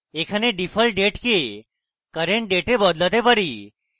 এখানে default date কে current date এ বদলাতে পারি